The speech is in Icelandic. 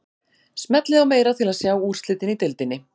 Smellið á meira til að sjá úrslitin í deildinni.